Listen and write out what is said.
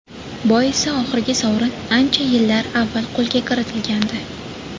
Boisi oxirgi sovrin ancha yillar avval qo‘lga kiritilgandi.